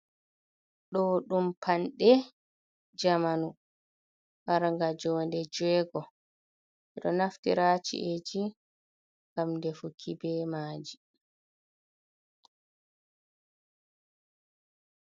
Ɗo ɗum panɗe jamanu marga jode jeugo, ɓeɗo naftira ha chi’eji ngam defuki be maji.